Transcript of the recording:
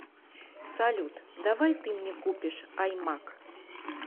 салют давай ты мне купишь аймак